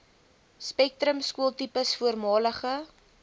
spektrum skooltipes voormalige